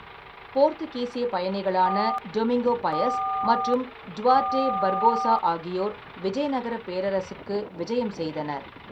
போர்த்துகீசியப் பயணிகளான Domingo Paes மற்றும் Duarte Barbosa ஆகியோர் விஜயநகரப் பேரரசுக்கு விஜயம் செய்தனர்.